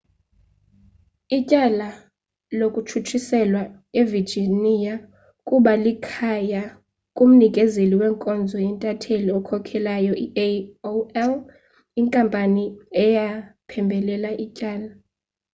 ityala latshutshiselwa evirginia kuba likhaya kumnikezeli wenkonzo ye-intanethi okhokelayo i-aol inkampani eyaphembelela ityala